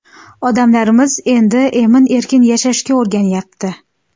Odamlarimiz endi emin-erkin yashashga o‘rganyapti.